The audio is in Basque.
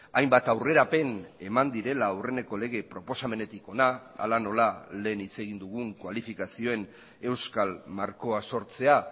hainbat aurrerapen eman direla aurreneko lege proposamenetik ona hala nola lehen hitz egin dugun kualifikazioen euskal markoa sortzea